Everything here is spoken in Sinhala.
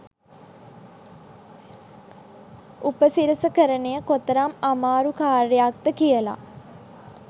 උපසිරසකරණය කොතරම් ආමාරු කාර්යයක්ද කියලා.